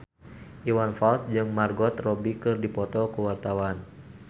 Iwan Fals jeung Margot Robbie keur dipoto ku wartawan